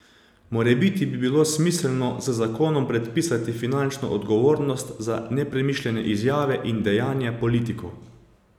Morebiti bi bilo smiselno z zakonom predpisati finančno odgovornost za nepremišljene izjave in dejanja politikov.